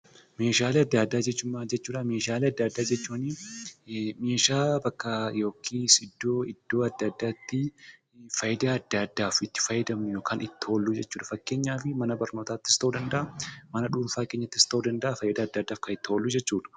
Meeshaalee adda addaa jechuun meeshaalee iddoo adda addaatti faayidaa adda addaaf itti fayyadamnu jechuudha. Fakkeenyaaf mana barnootaatti yookiin mana dhuunfaa keenyatti itti fayyadamnudha.